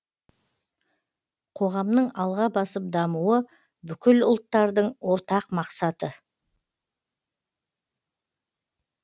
қоғамның алға басып дамуы бүкіл ұлттардың ортақ мақсаты